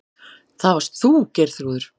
Það varst þú, Geirþrúður.